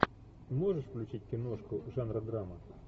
можешь включить киношку жанра драма